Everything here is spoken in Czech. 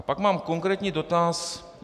A pak mám konkrétní dotaz.